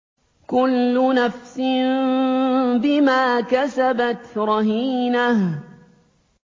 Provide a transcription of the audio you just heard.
كُلُّ نَفْسٍ بِمَا كَسَبَتْ رَهِينَةٌ